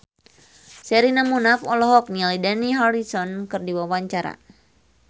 Sherina Munaf olohok ningali Dani Harrison keur diwawancara